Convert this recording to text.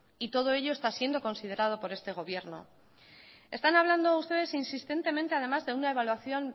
y todo ello está siendo considerado por este gobierno están hablando ustedes insistentemente además de una evaluación